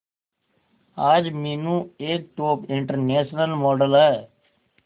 आज मीनू एक top international model है